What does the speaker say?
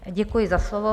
Děkuji za slovo.